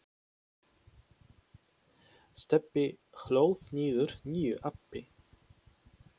Stebbi hlóð niður nýju appi.